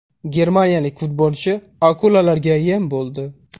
Germaniyalik futbolchi akulalarga yem bo‘ldi.